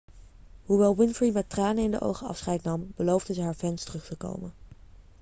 hoewel winfrey met tranen in de ogen afscheid nam beloofde ze haar fans terug te komen